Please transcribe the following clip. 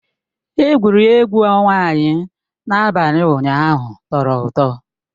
Egwuregwu ọnwa anyị n'abalị ụnyaahụ tọrọ ụtọ